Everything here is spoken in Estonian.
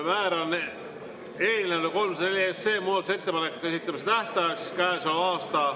Määran eelnõule 304 muudatusettepanekute esitamise tähtajaks käesoleva aasta …